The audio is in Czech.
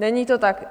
Není to tak.